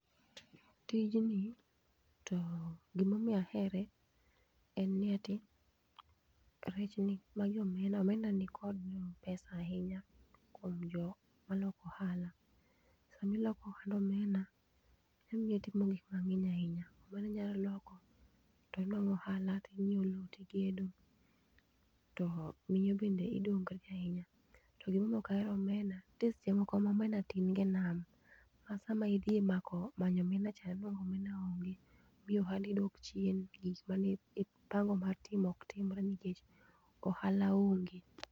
Tijni to gima omiyo ahere en ni eti[csc] rech ni, magi omena, omena nikod pesa ahinya kuom joma loko ohala. Sama iloko ohand omena to omiyo itimo gik mangeny ahinya, omena inya loko tinwango ohala to inyiew loo to igedo to miyo bende idongori ahinya. To gima omiyo ok ahero omena, taste ne moko ma omena tin go e nam ma sama idhi mako, manyo omena cha iyudo ka omena onge miyo ohandi dok chien nikech mani ipango mar timo ok timre nikech ohala onge